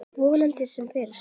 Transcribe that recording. Vonandi sem fyrst.